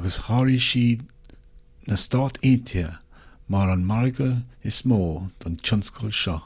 agus sháraigh sí na stáit aontaithe mar an margadh is mó don tionscal seo